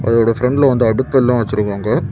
இதோட ப்ரண்ட்ல வந்து அடுப்பெல்லாம் வச்சிருக்காங்க.